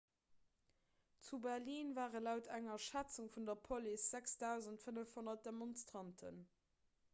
zu berlin ware laut enger schätzung vun der police 6 500 demonstranten